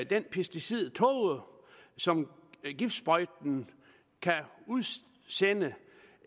den pesticidtåge som en giftsprøjte kan udsende